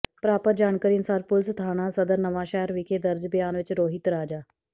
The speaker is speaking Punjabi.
ਪ੍ਰਰਾਪਤ ਜਾਣਕਾਰੀ ਅਨੁਸਾਰ ਪੁਲਿਸ ਥਾਣਾ ਸਦਰ ਨਵਾਂਸ਼ਹਿਰ ਵਿਖੇ ਦਰਜ ਬਿਆਨ ਵਿਚ ਰੋਹਿਤ ਰਾਜਾ